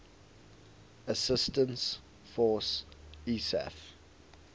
assistance force isaf